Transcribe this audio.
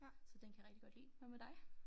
Så den kan jeg rigtig godt lide hvad med dig?